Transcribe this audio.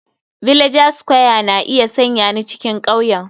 Villager square na iya sanya ni cikin ƙauyen.